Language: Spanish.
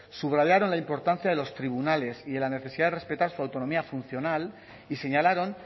subrayaron la importancia de los tribunales y la necesidad de respetar su autonomía funcional y señalaron